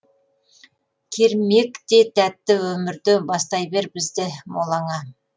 кермек те тәтті өмірде бастай бер бізді молаңа